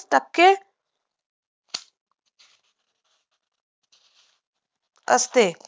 असते